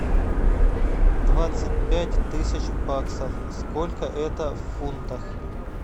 двадцать пять тысяч баксов сколько это в фунтах